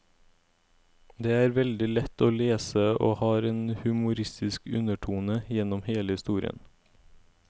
Den er veldig lett å lese og har en humoristisk undertone gjennom hele historien.